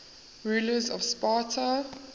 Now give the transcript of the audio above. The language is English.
rulers of sparta